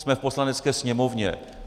Jsme v Poslanecké sněmovně.